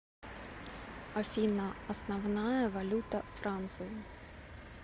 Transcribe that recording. афина основная валюта франции